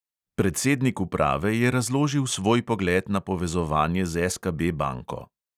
Predsednik uprave je razložil svoj pogled na povezovanje z SKB banko.